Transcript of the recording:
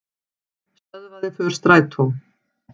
Stöðvaði för strætó